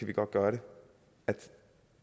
vi godt gøre